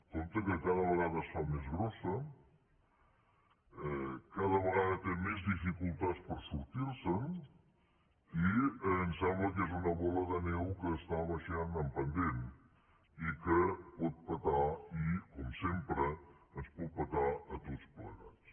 compte que cada vegada es fa més grossa cada vegada té més dificultats per sortir se’n i em sembla que és una bola de neu que està baixant en pendent i que pot petar i com sempre ens pot petar a tots plegats